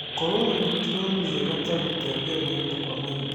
Gũkorwo na mĩtugo mĩega ta gũtembea mahinda kwa mahinda